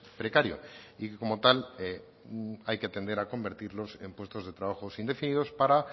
precario y que como tal hay que tender a convertirlos en puestos de trabajo indefinidos para